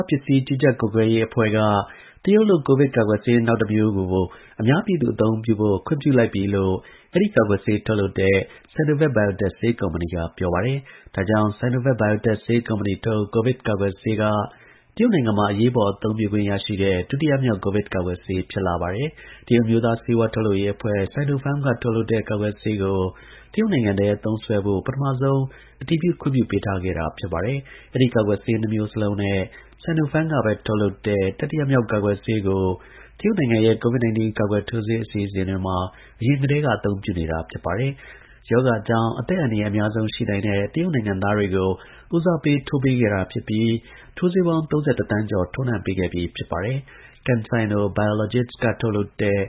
းပစ္စည်း ကြီးကြပ်ကွပ်ကဲရေး အဖွဲ့က တရုတ်လုပ် Sinovac ကိုဗစ်ကာကွယ်ဆေးကို အများပြည်သူ အသုံးပြုဖို့ အတည်ပြု ခွင့်ပြုလိုက်ပြီလို့ အဲဒီ ကာကွယ်ဆေး ထုတ်လုပ်တဲ့ Sinovac Biotech ဆေးကုမ္ပဏီ က ပြောပါတယ်။ ဒါကြောင့် Sinovac Biotech ဆေးကုမ္ပဏီထုတ် ကိုဗစ်ကာကွယ်ဆေးက တရုတ်နိုင်ငံမှာ အသုံးပြုခွင့် ရရှိတဲ့ ဒုတိယမြောက် ကိုဗစ် ကာကွယ်ဆေး ဖြစ်လာပါတယ်။ တရုတ်အမျိုးသား ဆေးဝါးထုတ်လုပ်ရေး အဖွဲ့(Sinopharm) က ထုတ်လုပ်တဲ့ ကာကွယ်ဆေးကို တရုတ်နိုင်ငံထဲ သုံးစွဲဖို့ ပထမဆုံး အတည်ပြု ခွင့်ပြုပေးထားခဲ့တာပါ။ အဲဒီ ကာကွယ်ဆေး နှစ်မျိုးစလုံးနဲ့ Sinopharm ကပဲ ထုတ်လုပ်တဲ့ တတိယမြောက် ကာကွယ်ဆေးကို တရုတ်နိုင်ငံရဲ့ COVID 19ကာကွယ်ထိုးဆေး အစီအစဉ်တွေမှာ အရင်ကတည်းက အသုံးပြုနေတာပါ။ ရောဂါကြောင့် အသက်အန္တရာယ် အများဆုံး ရှိနိုင်တဲ့ တရုတ်နိုင်ငံသားတွေ ကို ဦးစားပေး ထိုးပေးခဲ့တာ ဖြစ်ပြီး ထိုးဆေးပေါင်း ၃၁ သန်း ကျော် ထိုးနှံပေးခဲ့ပြီး ဖြစ်ပါတယ်။ CanSino Biologics က ထုတ်လုပ်တဲ့